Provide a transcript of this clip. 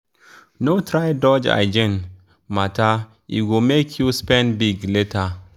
no try dodge hygiene matter e go make you spend big later.